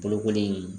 Bolokoli